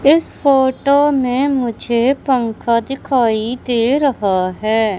इस फोटो में मुझे पंखा दिखाई दे रहा है।